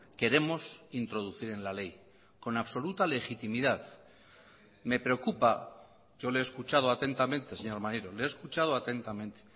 queremos introducir en la ley con absoluta legitimidad me preocupa yo le he escuchado atentamente señor maneiro le he escuchado atentamente